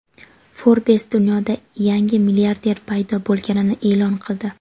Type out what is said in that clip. "Forbes" dunyoda yangi milliarder paydo bo‘lganini e’lon qildi.